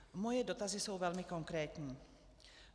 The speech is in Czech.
Moje dotazy jsou velmi konkrétní.